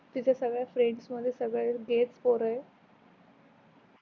तीच सगल फ्रेंड्स मध्ये सगळ तेच पोर आहे